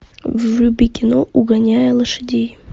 вруби кино угоняя лошадей